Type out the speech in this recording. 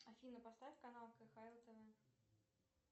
афина поставь канал кхл тв